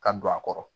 Ka don a kɔrɔ